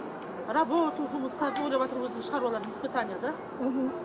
работу жұмыстарын ойлаватыр өзінің шаруаларын испытание да мхм